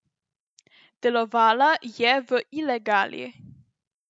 Delovala je v ilegali.